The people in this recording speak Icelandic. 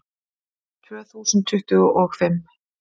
Tvö þúsund tuttugu og fimm